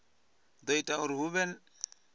do ita uri hu vhe